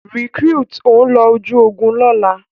Recruit, o ló oju ògún lola!